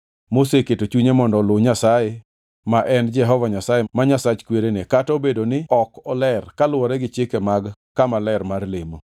moseketo chunye mondo oluw Nyasaye ma en Jehova Nyasaye ma Nyasach kwerene kata obedo ni ok oler kaluwore gi chike mag kama ler mar lemo.”